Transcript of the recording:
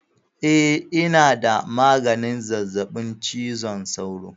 Eh ina da maganin zazzaɓin cizon sauro